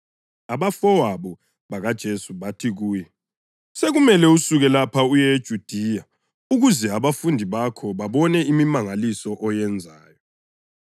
abafowabo bakaJesu bathi kuye, “Sekumele usuke lapha uye eJudiya ukuze abafundi bakho babone imimangaliso oyenzayo.